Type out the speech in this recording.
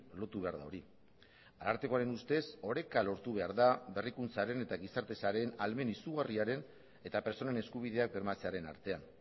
lotu behar da hori arartekoaren ustez oreka lortu behar da berrikuntzaren eta gizarte sareen ahalmen izugarriaren eta pertsonen eskubideak bermatzearen artean